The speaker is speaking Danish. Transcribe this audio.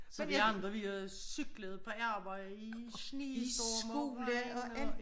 Som vi andre vi har cyklet på arbejde i snestorm og regn og